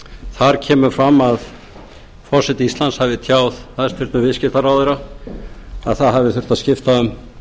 þar kemur fram að forseti íslands hafi tjáð hæstvirtur viðskiptaráðherra að það hafi þurft að skipta um